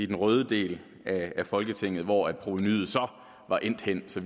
den røde del af folketinget hvor provenuet så var endt henne så